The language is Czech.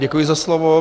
Děkuji za slovo.